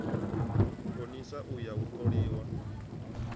konisa u ya u toliwa